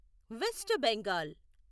west Bengal